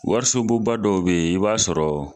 Warisobon ba dɔw be yen, i b'a sɔrɔ